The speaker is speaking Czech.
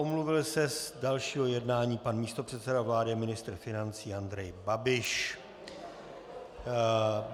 Omluvil se z dalšího jednání pan místopředseda vlády a ministr financí Andrej Babiš.